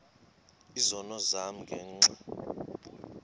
izono zam ngenxa